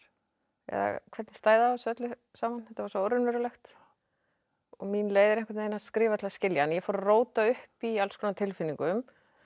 eða hvernig stæði á þessu öllu saman þetta var svo óraunverulegt og mín leið er að skrifa til að skilja en ég fór að róta upp í alls konar tilfinningum